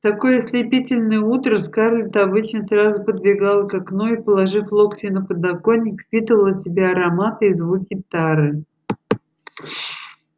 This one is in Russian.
в такое ослепительное утро скарлетт обычно сразу подбегала к окну и положив локти на подоконник впитывала в себя ароматы и звуки тары